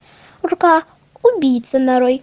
рука убийцы нарой